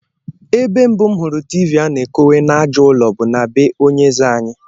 Ebe mbu m hụrụ tiivii a na-ekowe n'àjà ụlọ bụ na be onye eze anyị